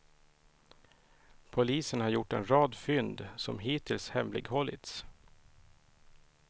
Polisen gjort en rad fynd, som hittills hemlighållits.